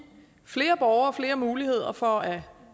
flere borgere flere muligheder for at